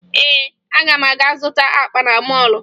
Ee, aga m aga zụta akpa na mọọlụ